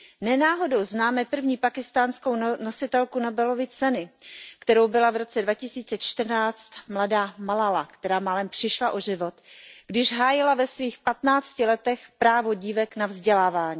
Ne náhodou známe první pákistánskou nositelku Nobelovy ceny, kterou byla v roce 2014 mladá Malála, která málem přišla o život, když hájila ve svých patnácti letech právo dívek na vzdělávání.